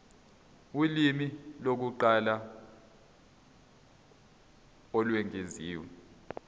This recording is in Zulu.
ulimi lokuqala olwengeziwe